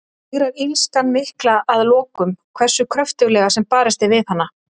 Sigrar illskan mikla að lokum, hversu kröftuglega sem barist er við hana?